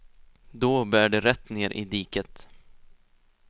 Då bär det rätt ner i diket.